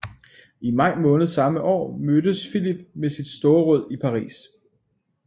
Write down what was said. I maj samme år mødtes Philip med sit storråd i Paris